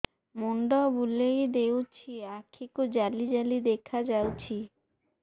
ମୁଣ୍ଡ ବୁଲେଇ ଦେଉଛି ଆଖି କୁ ଜାଲି ଜାଲି ଦେଖା ଯାଉଛି